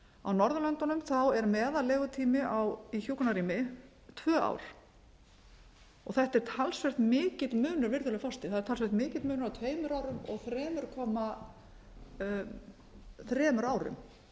á norðurlöndunum er meðal legutími í hjúkrunarrými tvö ár þetta er talsvert mikill munur virðulegi forseti það er talsverður munur á tveimur árum og þrjú komma þremur árum